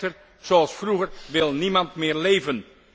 Echter, zoals vroeger wil niemand meer leven.